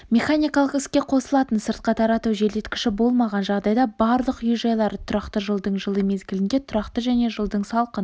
механикалық іске қосылатын сыртқа тарату желдеткіші болмаған жағдайда барлық үй-жайлары тұрақты жылдың жылы мезгілінде тұрақты және жылдың салқын